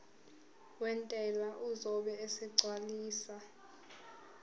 wentela uzobe esegcwalisa